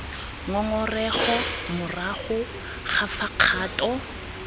ngongorego morago ga fa kgato